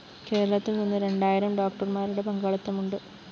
കേരളത്തില്‍ നിന്ന് രണ്ടായിരം ഡോക്ടര്‍മാരുടെ പങ്കാളിത്തമുണ്ട്